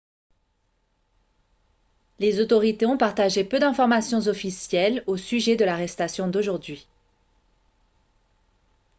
les autorités ont partagé peu d'informations officielles au sujet de l'arrestation d'aujourd'hui